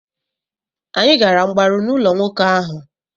Anyị gara mgbaru n'ụlọ nwoke ahụ.